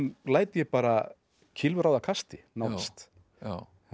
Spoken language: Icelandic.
læt ég bara kylfu ráða kasti nánast